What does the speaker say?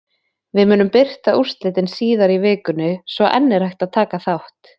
Við munum birta úrslitin síðar í vikunni svo enn er hægt að taka þátt!